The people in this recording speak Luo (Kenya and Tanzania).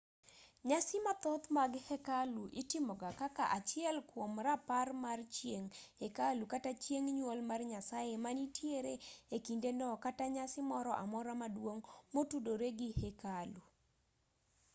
nyasi mathoth mag hekalu itimoga kaka achiel kwom rapar mar chieng' hekalu kata chieng' nyuol mar nyasaye manitiere e kindeno kata nyasi moro amora maduong' motudore gi hekalu